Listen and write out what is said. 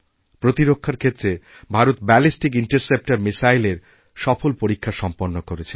প্রতিরক্ষার ক্ষেত্রে ভারত ব্যালিস্টিকইন্টারসেপ্টর মিসাইলের সফল পরীক্ষা সম্পন্ন করেছে